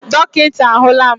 Dọkịta ahụla m.